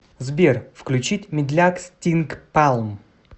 сбер включить медляк стинк палм